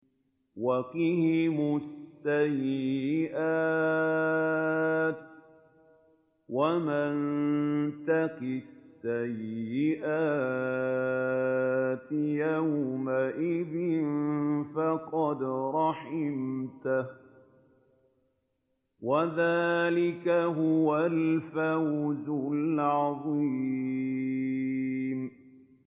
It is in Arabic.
وَقِهِمُ السَّيِّئَاتِ ۚ وَمَن تَقِ السَّيِّئَاتِ يَوْمَئِذٍ فَقَدْ رَحِمْتَهُ ۚ وَذَٰلِكَ هُوَ الْفَوْزُ الْعَظِيمُ